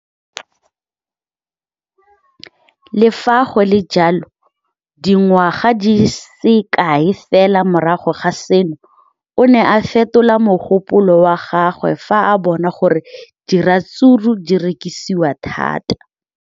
Le fa go le jalo, dingwaga di se kae fela morago ga seno, o ne a fetola mogopolo wa gagwe fa a bona gore diratsuru di rekisiwa thata.